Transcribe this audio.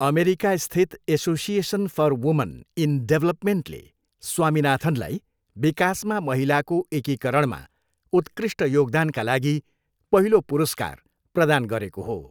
अमेरिकास्थित association for woman in डेभलपमेन्टले स्वामिनाथनलाई विकासमा महिलाको एकीकरणमा उत्कृष्ट योगदानका लागि पहिलो पुरस्कार प्रदान गरेको हो।